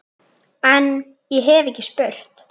En- ég hef ekki spurt.